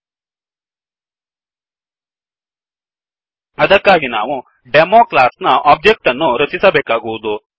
000928 000921 ಅದಕ್ಕಾಗಿ ನಾವು demo demo class ನ ಒಬ್ಜೆಕ್ಟ್ ಅನ್ನು ರಚಿಸಬೇಕಾಗುವದು